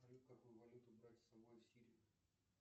салют какую валюту брать с собой в сирию